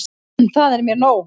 Það er mér nóg.